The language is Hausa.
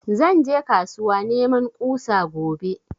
Zan je kasuwa neman ƙusa gobe